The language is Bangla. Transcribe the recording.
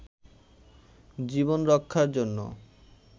জীবন রক্ষার জন্য